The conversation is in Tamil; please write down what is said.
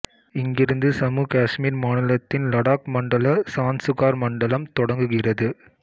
இங்கிருந்து சம்மு காசுமீர் மாநிலத்தின் லடாக் மண்டல சான்சுகார் மண்டலம் தொடங்குகிறது